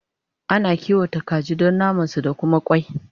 Ana kiwata kaji Dan naman su da Kuma kwai